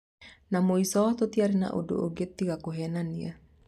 Na mũico tũtiari na ũndũ ũngĩ tiga kũhenania."